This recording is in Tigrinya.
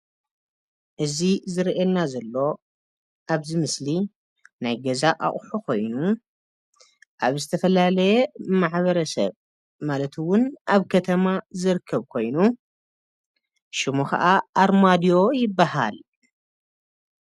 እዚ ዝረአየና ዘሎ ኣብዚ ምስሊ ናይ ገዛ ኣቁሑ ኮይኑ ኣብ ዝተፈላለየ ማሕበረሰብ ማለት'ውን ኣብ ከተማ ዝርከብ ኮይኑ ሹሙ ከዓ ኣርማድዮ ይባሃል።